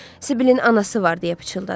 Sibilin anası var, deyə pıçıldadı.